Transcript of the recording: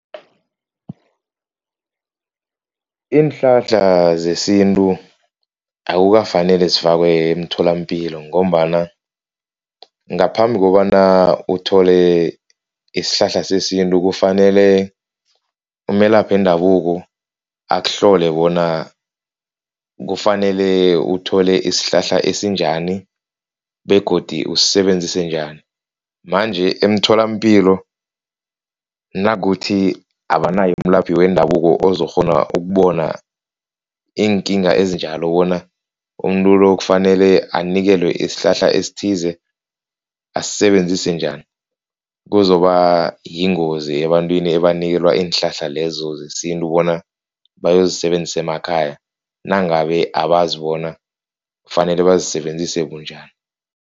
Iinhlahla zesintu akukafaneli zifakwe emtholampilo ngombana ngaphambi kobana uthole isihlahla sesintu kufanele umelaphi wendabuko akuhlole bona kufanele uthole isihlahla esinjani begodi usisebenzise njani, manje emtholampilo nakuthi abanayo umelaphi wendabuko ozokghona ukubona iinkinga ezinjalo bona umuntu-lo kufanele anikelwe isihlahla esithize asisebenzise njani, kuzoba yingozi ebantwini ebanikelwa iinhlahla lezo zesintu bona bayozi zisebenzisa emakhaya nangabe abazi bona kufanele bazisebenzise bunjani.